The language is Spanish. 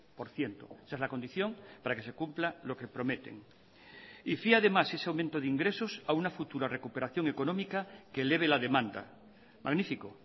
por ciento esa es la condición para que se cumpla lo que prometen y fía además ese aumento de ingresos a una futura recuperación económica que eleve la demanda magnífico